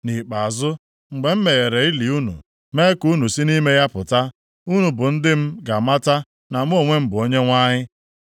Nʼikpeazụ, mgbe m meghere ili unu mee ka unu si nʼime ya pụta, unu bụ ndị m ga-amata na mụ onwe m bụ Onyenwe anyị.